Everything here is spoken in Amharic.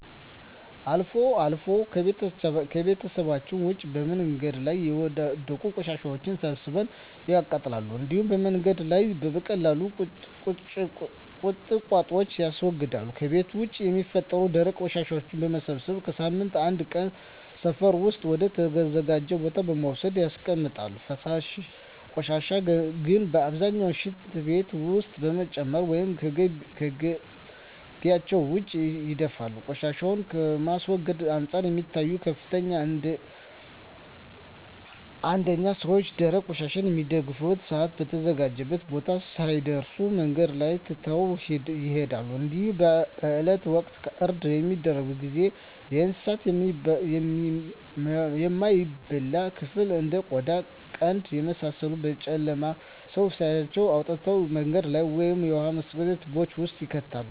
አልፎ አልፎ ከቤታቸዉ ውጭ በመንገድ ላይ የወዳደቁ ቆሻሻወችን ሰብስበው ያቃጥላሉ እንዲሁም በመንገድ ላይ የበቀሉ ቁጥቋጦወችን ያስወግዳሉ። ከቤት ውስጥ የሚፈጠሩ ደረቅ ቆሻሻወችን በመሰብሰብ በሳምንት አንድ ቀን ሰፈር ውስጥ ወደ ተዘጋጀ ቦታ በመውሰድ ያስቀምጣሉ። ፈሳሽ ቆሻሻን ግን በአብዛኛው ሽንት ቤት ውስጥ በመጨመር ወይም ከጊቢያቸው ውጭ ይደፋሉ። ቆሻሻን ከማስወገድ አንፃር የሚታዩት ክፍተቶች አንደኛ ሰወች ደረቅ ቆሻሻን በሚደፉበት ሰአት በተዘጋጀው ቦታ ሳይደርሱ መንገድ ላይ ትተው ይሄዳሉ እንዲሁም በበአላት ወቅት እርድ በሚደረግበት ጊዜ የእንሳቱን የማይበላ ክፍል እንደ ቆዳ ቀንድ የመሳሰሉትን በጨለማ ሰው ሳያያቸው አውጥተው መንገድ ላይ ወይም የውሃ መስደጃ ትቦወች ውስጥ ይከታሉ።